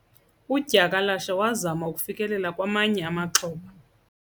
Udyakalashe wazama ukufikelela kwamanye amaxhoba.